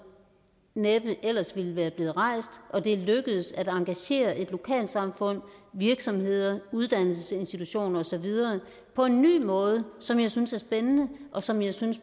næppe ellers ville være blevet rejst og det er lykkedes at engagere lokalsamfund virksomheder uddannelsesinstitutioner og så videre på en ny måde som jeg synes er spændende og som jeg synes